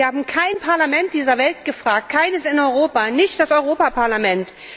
Sie haben kein Parlament dieser Welt gefragt, keines in Europa, nicht das Europäische Parlament.